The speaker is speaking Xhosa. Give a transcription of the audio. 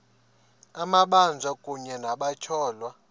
amabanjwa kunye nabatyholwa